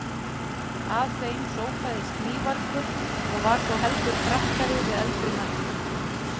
Að þeim sópaðist mývargur og var þó heldur frakkari við eldri manninn.